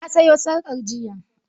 I bought the necless yestarday.